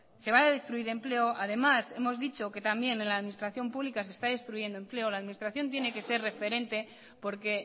se va a destruir empleo además hemos dicho que también en la administración pública se está destruyendo empleo la administración tiene que ser referente porque